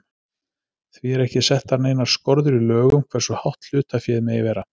Því eru ekki settar neinar skorður í lögum hversu hátt hlutaféð megi vera.